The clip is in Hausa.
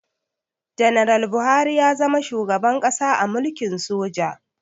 Ganaral Buhari ya zama shugaban ƙasa a mulkin soja